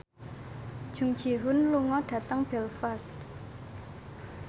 Jung Ji Hoon lunga dhateng Belfast